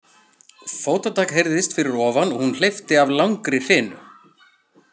Fótatak heyrðist fyrir ofan og hún hleypti af langri hrinu.